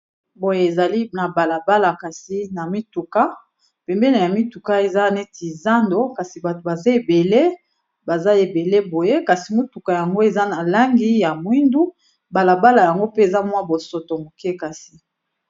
Boye ezali na balabala kasi na mituka pembene ya mituka eza neti zando kasi bato baza ebele baza ebele boye kasi mituka yango eza na langi ya mwindu balabala yango pe eza mwa bosoto moke kasi.